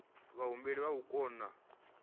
vhahumbeli vha o kona u